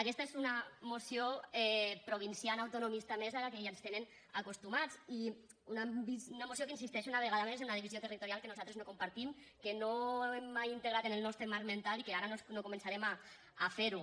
aquesta és una moció provinciana autonomista més a les que ja ens tenen acostumats i una moció que insisteix una vegada més en una divisió territorial que nosaltres no compartim que no hem mai integrat en el nostre marc mental i que ara no començarem a fer ho